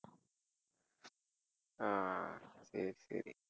ஆஹ் சரி சரி